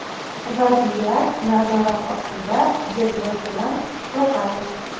Vaziyat nazorat ostida”, deb yozgan To‘qayev.